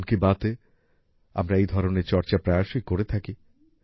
মন কি বাতে আমরা এই ধরনের চর্চা প্রায়শই করে থাকি